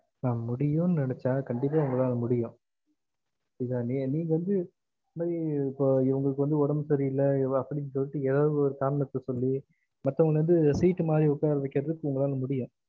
Maam முடியும்ன்னு நெனச்சா கண்டிப்பா ஒங்களால முடியும் இல்லையா நீங்க வந்து உம் இவங்களுக்கு வந்து ஒடம்பு சேரி இல்ல இவ அப்டின்னு சொல்லிட்டு ஏதாவது ஒரு காரணத்த சொல்ல மத்தவங்கள வந்து seat மாறி ஒக்கார வைக்குறது வந்துட்டு ஒங்களால முடியும்